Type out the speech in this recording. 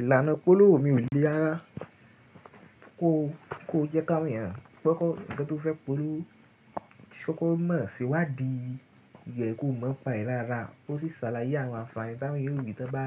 Ìlànà ipolówó mi ò le rara ko jẹ́ ká won èèyàn Kọkọ̀ nkan to fẹ́ polówó tí kọkọ mọ̀ se iwádi rè ko mọ̀ n pa ẹ dáadáa. Ó sì ṣàlàyé àwọn ànfààní táwọn eeyan ori tá n bá